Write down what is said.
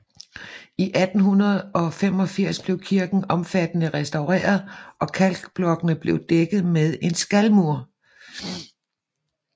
I 1885 blev kirken omfattende restaureret og kalkblokkene blev dækket med en skalmur